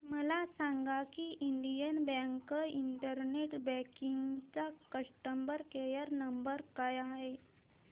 मला सांगा की इंडियन बँक इंटरनेट बँकिंग चा कस्टमर केयर नंबर काय आहे